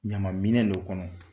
Ɲama minɛ dɔ kɔnɔ.